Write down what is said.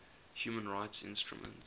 human rights instruments